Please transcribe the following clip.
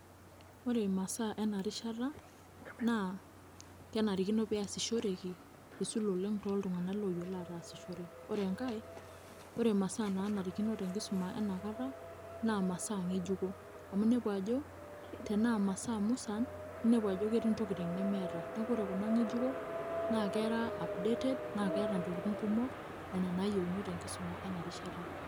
ore imasaa ena rishata naa kenarikino pee eyasishoreki eisul oleng too ltunganak ooyiolo aatasishore. ore enkae, ore imasaa naanarikino te nkisuma ena kata, naa masaa ngejuko amu inepu ajo, tenaa masaa musan naa inepu ajo ketii ntokitin nemeeta, neeku ore kuna ngejuko naa kera, updated naa keeta ntokitin kumok nena nayieuni tenkisuma enarishata.